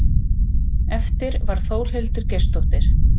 Eftir varð Þórhildur Geirsdóttir.